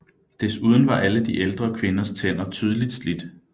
Desuden var alle de ældre kvinders tænder tydeligt slidt